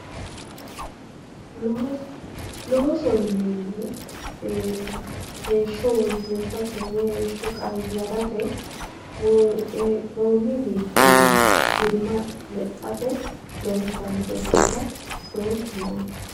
Looso, loosoho yineemmohu ee heeshsho woyyeessate woyi heeshsho qayarate hee'nonni wichinni dirima lexxate loonsannire baala loosoho yinnanni.